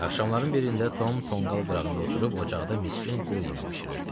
Axşamların birində Tom tonqal qırağında oturub, ocaqda miskin qul yeməyi bişirirdi.